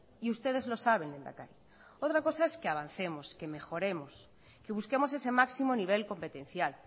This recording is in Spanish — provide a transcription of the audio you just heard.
y ustedes lo saben lehendakari otra cosa es que avancemos que mejoremos que busquemos ese máximo nivel competencial